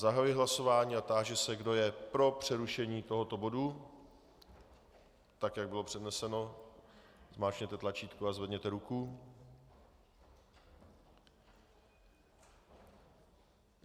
Zahajuji hlasování a táži se, kdo je pro přerušení tohoto bodu, tak jak bylo předneseno, zmáčkněte tlačítko a zvedněte ruku.